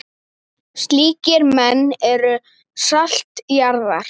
Slíkir menn eru salt jarðar.